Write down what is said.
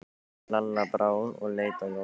Lalla brá og leit á Jóa.